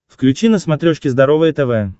включи на смотрешке здоровое тв